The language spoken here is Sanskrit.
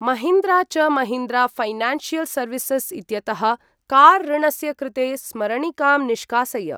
महीन्द्रा च महीन्द्रा ऴैनान्शियल् सर्विसस् इत्यतः कार् ऋणस्य कृते स्मरणिकां निष्कासय।